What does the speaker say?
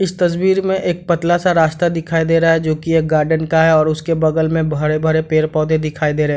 इस तस्वीर में एक पतला सा रास्ता दिखाई दे रहा है जो की एक गार्डन का है और उसके बगल में भरे-भरे पेड़-पौधे दिखाई दे रहें हैं।